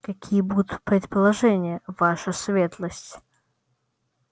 какие будут предложения ваша светлость